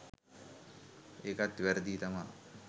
ඒකත් වැරදියි තමා.